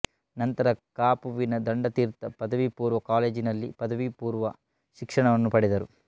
ನಂತರ ಕಾಪುವಿನ ದಂಡತಿರ್ಥ ಪದವಿಪೂರ್ವ ಕಾಲೇಜಿನಲ್ಲಿ ಪದವಿಪೂರ್ವ ಶಿಕ್ಷಣವನ್ನು ಪಡೆದರು